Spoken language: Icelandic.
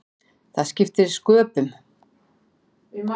Það skipti sköpum.